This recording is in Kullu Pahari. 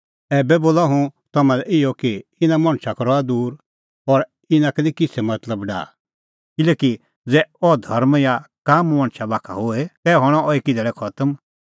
ऐबै बोला हुंह तम्हां लै इहअ कि इना मणछ का रहा दूर और इना का निं किछ़ै मतलब डाहा किल्हैकि ज़ै अह धर्म या काम मणछा बाखा का होए तै हणअ अह एकी धैल़ै खतम